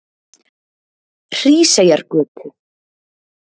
Hríseyjargötu